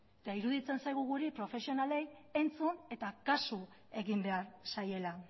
eta iruditzen zaigu guri profesionalei entzun eta kasu egin behar zaiela